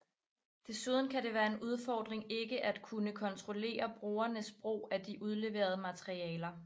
Desuden kan det være en udfordring ikke at kunne kontrollere brugernes brug af de udleverede materialer